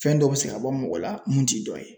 Fɛn dɔ bɛ se ka bɔ mɔgɔ la mun t'i dɔ ye.